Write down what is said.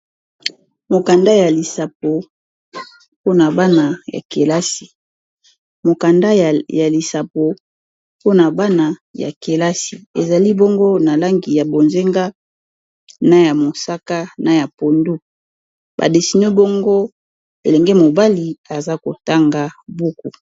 mokanda ya lisapo pona bana ya kelasi ezali bango na langi ya bozenga na ya mosaka na ya pondu badesinio baongo elenge mobali aza kotanga buku